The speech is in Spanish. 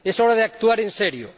Es hora es actuar en serio